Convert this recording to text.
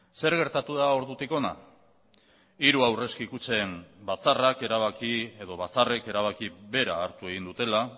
zer gertatu da ordutik hona hiru aurrezki kutxen batzarrak erabaki edo batzarrek erabaki bera hartu egin dutela